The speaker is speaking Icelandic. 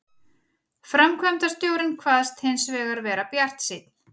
Framkvæmdastjórinn kvaðst hins vegar vera bjartsýnn